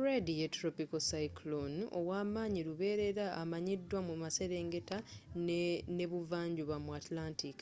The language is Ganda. fred ye tropiko cyclone ow'amaanyi luberera amanyiddwa mu maserengeta n'ebuvanjuba mu antlantic